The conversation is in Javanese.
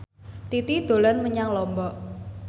Titi dolan menyang Lombok